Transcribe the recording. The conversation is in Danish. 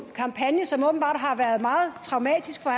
kampagne som åbenbart har været meget traumatisk for